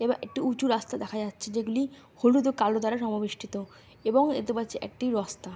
এবার একটি উঁচু রাস্তা দেখা যাচ্ছে যেগুলি হলুদ ও কালো দ্বারা সমবৃষ্টিতো এবং এ দু পাছে একটি রসতা --